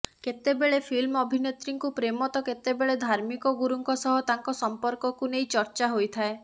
କେତେବେଳେ ଫିଲ୍ମ ଅଭିନେତ୍ରୀଙ୍କୁ ପ୍ରେମ ତ କେତେବେଳେ ଧାର୍ମିକ ଗୁରୁଙ୍କ ସହ ତାଙ୍କ ସମ୍ପର୍କକୁ ନେଇ ଚର୍ଚ୍ଚା ହୋଇଥାଏ